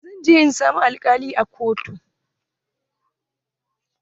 Zan je in samu alkalin a kotu.